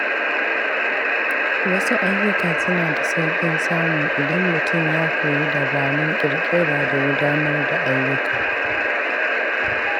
Wasu ayyuka suna da sauƙin samu idan mutum ya koyi dabarun ƙirƙira da gudanar da ayyuka.